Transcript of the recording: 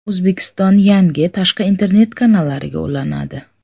O‘zbekiston yangi tashqi internet kanallariga ulanadi.